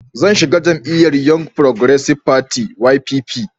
Zan shiga jam'iyyar Young Progressive Party (YPP)